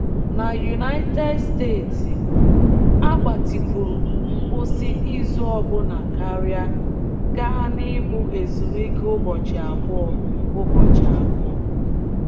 N'United States, a gbatịkwuru ngwụsị izu ọbụna karịa, gaa n’ịbụ ezumike ụbọchị abụọ. ụbọchị abụọ.